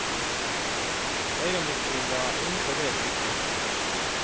Ögonblicksbilder är inte det viktigaste för oss.